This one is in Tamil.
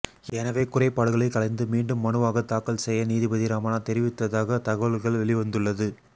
எனவே குறைபாடுகளை களைந்து மீண்டும் மனுவாக தாக்கல் செய்ய நீதிபதி ரமணா தெரிவித்ததாக தகவல்கள் வெளிவந்துள்ளது